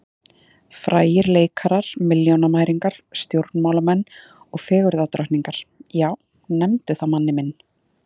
Frægir leikarar, milljónamæringar, stjórnmálamenn og fegurðardrottningar, já, nefndu það manni minn.